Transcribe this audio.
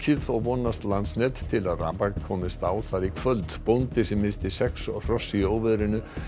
og vonast Landsnet til að rafmagn komist á þar í kvöld bóndi sem missti sex hross í óveðrinu